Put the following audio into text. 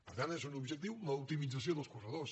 per tant és un objectiu l’optimització dels corredors